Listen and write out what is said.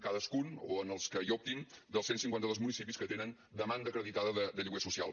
cadascun o en els que hi optin dels cent cinquanta dos municipis que tenen demanda acreditada de lloguer social